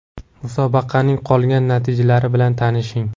Musobaqaning qolgan natijalari bilan tanishing: !